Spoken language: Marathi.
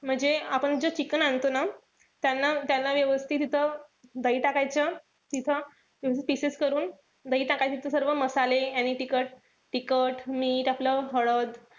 म्हणजे आपण जे chicken आणतो ना, त्यांना त्यांना व्यवस्थित असं दही टाकायचं. तिथं pieces करून, दही टाकायचं. ते सर्व मसाले आणि तिखट, तिखट, मीठ आपलं. हळद,